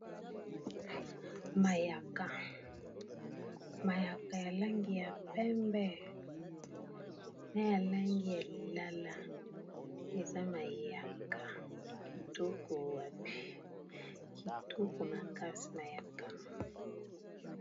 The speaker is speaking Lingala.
mayaka mayaka ya langi ya pembe na ya langi ya lilala eza mayaka kitoko wape kitoko makasi mayaka